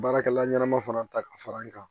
Baarakɛla ɲɛnama fana ta ka fara n kan